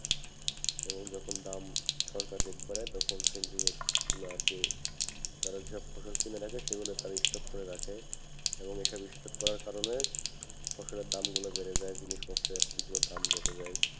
এবং যখন দাম সরকার রেট বাড়ায় তখন সেন্টি রেটগুলো আর কি তার যেসব ফসল কিনে রাখে সেগুলো তার stop করে রাখে এবং এসব স্টপ করার কারণে ফসলের দাম গুলো বেড়ে যায় জিনিসপত্রের যেগুলোর দাম বেড়ে যায়।